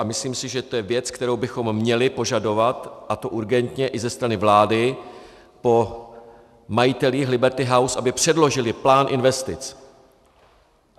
A myslím si, že to je věc, kterou bychom měli požadovat, a to urgentně, i ze strany vlády po majitelích Liberty House, aby předložili plán investic.